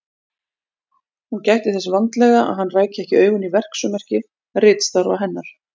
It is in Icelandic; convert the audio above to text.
Hún gætti þess vandlega að hann ræki ekki augun í verksummerki ritstarfa hennar.